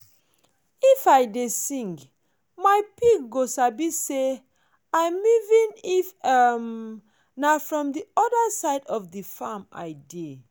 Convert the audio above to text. if i dey sing my pig go sabi say an meeven if um na from the other side of farm i dey.